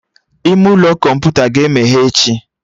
Ime ụlọ kọmputa ga-emeghe echi